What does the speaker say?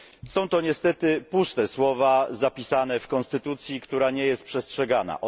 Są to niestety puste słowa zapisane w konstytucji, która nie jest przestrzegana.